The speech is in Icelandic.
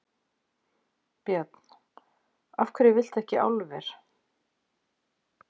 Björn: Af hverju viltu ekki álver?